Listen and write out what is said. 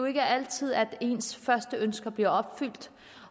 ikke er altid at ens første ønske bliver opfyldt